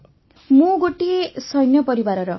ବର୍ଷାବେନ୍ ମୁଁ ଗୋଟିଏ ସୈନ୍ୟ ପରିବାରର